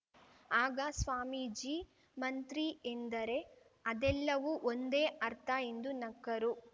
ಆಗ ಸ್ವಾಮೀಜಿ ಮಂತ್ರಿ ಎಂದರೆ ಅದೆಲ್ಲವೂ ಒಂದೇ ಅರ್ಥ ಎಂದು ನಕ್ಕರು